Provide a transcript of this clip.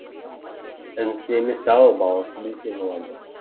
інісі емес ау баласы десе болады